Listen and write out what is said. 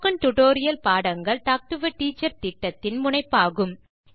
spoken tutorial பாடங்கள் talk to a teacher திட்டத்தின் முனைப்பாகும்